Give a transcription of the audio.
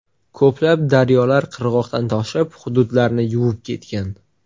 Ko‘plab daryolar qirg‘oqdan toshib hududlarni yuvib ketgan.